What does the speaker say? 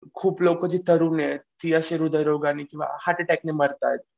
खूप लोकं जी तरुण आहेत ती अशी हृदय रोगाने किंवा हर्ट अटॅकने मारतायत.